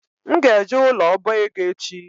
M ga-eje ụlọ ọbaego echi